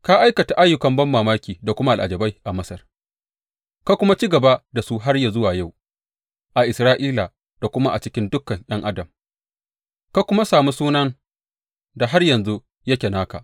Ka aikata ayyukan banmamaki da kuma al’ajabai a Masar ka kuma ci gaba da su har yă zuwa yau, a Isra’ila da kuma a cikin dukan ’yan adam, ka kuma sami sunan da har yanzu yake naka.